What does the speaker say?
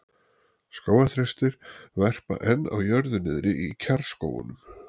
Skógarþrestir verpa enn á jörðu niðri í kjarrskógunum.